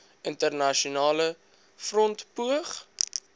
internasionale front poog